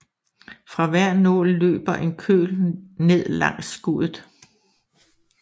Fra hver nål løber en køl ned langs skuddet